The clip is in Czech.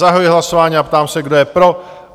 Zahajuji hlasování a ptám se, kdo je pro?